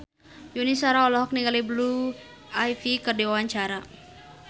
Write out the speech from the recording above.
Yuni Shara olohok ningali Blue Ivy keur diwawancara